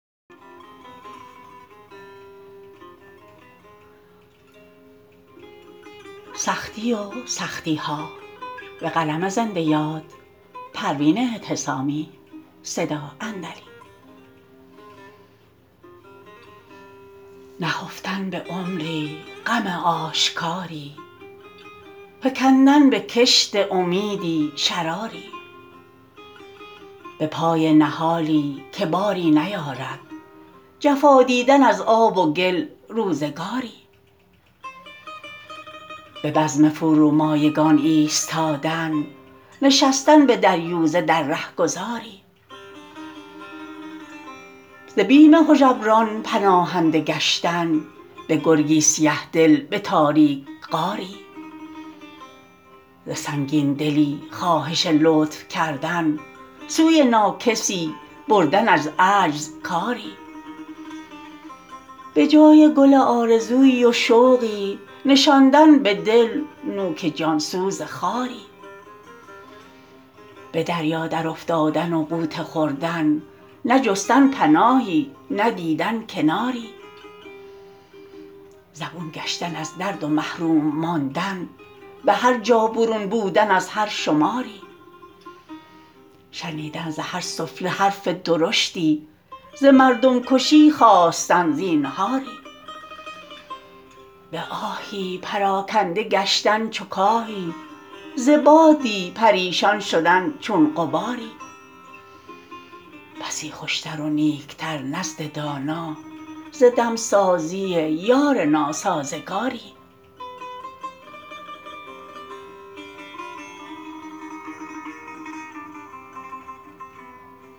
نهفتن به عمری غم آشکاری فکندن به کشت امیدی شراری به پای نهالی که باری نیارد جفا دیدن از آب و گل روزگاری به بزم فرومایگان ایستادن نشستن به دریوزه در رهگذاری ز بیم هژبران پناهنده گشتن به گرگی سیه دل به تاریک غاری ز سنگین دلی خواهش لطف کردن سوی ناکسی بردن از عجز کاری به جای گل آرزویی و شوقی نشاندن به دل نوک جانسوز خاری به دریا در افتادن و غوطه خوردن نه جستن پناهی نه دیدن کناری زبون گشتن از درد و محروم ماندن به هرجا برون بودن از هر شماری شنیدن ز هر سفله حرف درشتی ز مردم کشی خواستن زینهاری به آهی پراکنده گشتن چو کاهی ز بادی پریشان شدن چون غباری بسی خوش تر و نیک تر نزد دانا ز دمسازی یار ناسازگاری